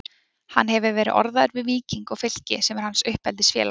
Hann hefur verið orðaður við Víking og Fylki sem er hans uppeldisfélag.